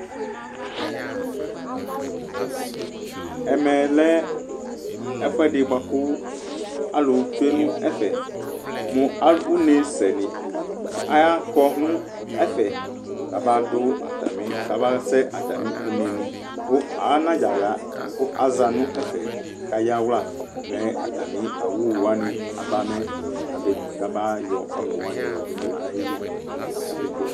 Ɛmɛ lɛ ɛfuɛɖi boakʋ alʋ tsue n'ɛfɛMʋ une' sɛnikʋ aakɔnʋ ɛfɛ k'abaɖʋ atami kabasɛ atami une'niAanadza ɣaa kʋ aza nɛfɛ k'ayawlua mɛ atami owuwani abamɛ kamayɔ ʋnʋwani yɔɖʋ mɛ kabe dzofue